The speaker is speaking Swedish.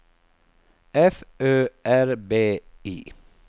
F Ö R B I